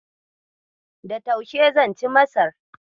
Da taushe zan ci Masar.